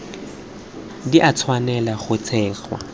di a tshwanela go tsenngwa